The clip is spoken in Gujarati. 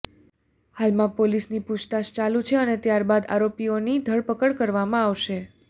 હાલમાં પોલીસની પુછતાછ ચાલુ છે અને ત્યાર બાદ આરોપીઓની ધરપકડ કરવામાં આવશે